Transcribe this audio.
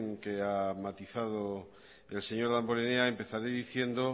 que ha matizado el señor damborenea empezaré diciendo